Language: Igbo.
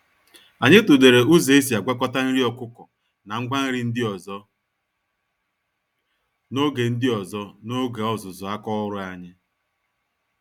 Anyị tụlere ụzọ esi agwakọta nri ọkụkọ na ngwa nri ndị ọzọ, n'oge ndị ọzọ, n'oge ọzụzụ àkà ọrụ anyị.